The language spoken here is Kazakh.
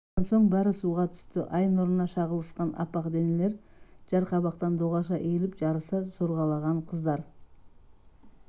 біраздан соң бәрі суға түсті ай нұрына шағылысқан аппақ денелер жарқабақтан доғаша иіліп жарыса сорғалаған қыздар